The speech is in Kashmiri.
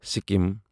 سِکیم